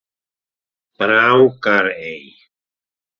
Brákarey